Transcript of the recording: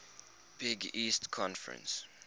big east conference